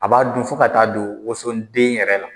A b'a dun fo ka taa don wosonden yɛrɛ la.